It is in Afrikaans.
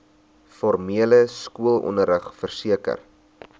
formele skoolonderrig verseker